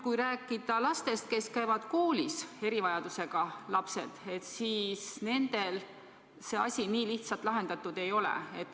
Kui rääkida erivajadusega lastest, kes käivad koolis, siis nende puhul see asi nii lihtsalt lahendatud ei ole.